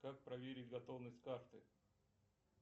как проверить готовность карты